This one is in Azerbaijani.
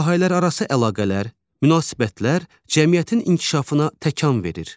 Sahələrarası əlaqələr, münasibətlər cəmiyyətin inkişafına təkan verir.